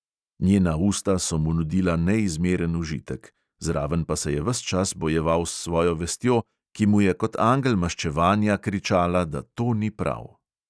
Njena usta so mu nudila neizmeren užitek, zraven pa se je ves čas bojeval s svojo vestjo, ki mu je kot angel maščevanja kričala, da to ni prav.